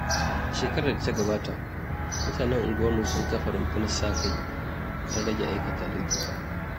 A shekarar da ta gabata, mutanen unguwarmu sun kafa rundunar sa-kai don rage aikata laifuka.